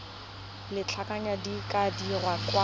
lobakanyana di ka dirwa kwa